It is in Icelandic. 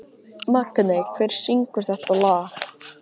Magney, hver syngur þetta lag?